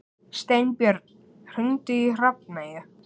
Steinbjörn, hringdu í Hrafneyju.